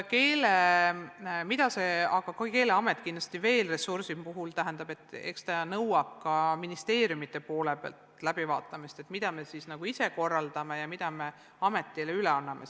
Keeleameti ressursid tuleb kindlasti ka ministeeriumide poole pealt läbi vaatata, st mida me korraldame ise ja mida me ametile üle anname.